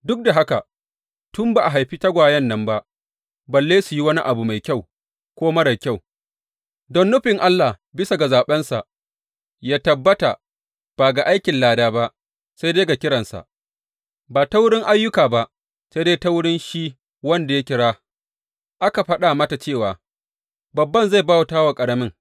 Duk da haka, tun ba a haifi tagwayen nan ba, balle su yi wani abu mai kyau ko marar kyau don nufin Allah bisa ga zaɓensa ya tabbata, ba ga aikin lada ba, sai dai ga kiransa, ba ta wurin ayyuka ba sai dai ta wurin shi wanda ya kira, aka faɗa mata cewa, Babban zai bauta wa ƙaramin.